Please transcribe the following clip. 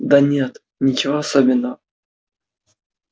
да нет ничего особенного